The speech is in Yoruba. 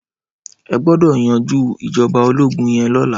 Ẹ gbọ́dọ̀ yanjú ìjọba ológún yẹn lọ́la.